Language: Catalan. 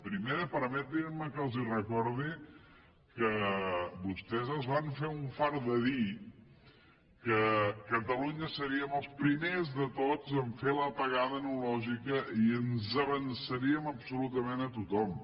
primera permetin me que els recordi que vostès es van fer un fart de dir que catalunya seríem els primers de tots a fer l’apagada analògica i ens avançaríem absolutament a tothom